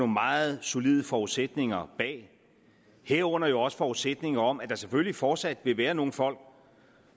meget solide forudsætninger bag herunder jo også forudsætninger om at der selvfølgelig fortsat vil være nogle folk